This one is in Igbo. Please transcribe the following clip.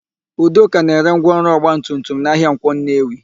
Udoka na-ere ngwaọrụ ọgbatumtum na ahịa Nkwọ Nnewi.